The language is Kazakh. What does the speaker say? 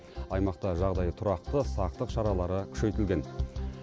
аймақта жағдай тұрақты сақтық шаралары күшейтілген